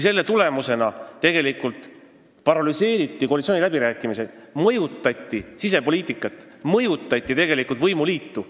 Selle tulemusena paralüseeriti koalitsiooniläbirääkimised, mõjutati sisepoliitikat ja tegelikult ka võimuliitu.